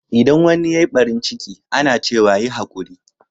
Idan wanni ya yi ɓarin ciki, ana cewa,"Yi haƙuri."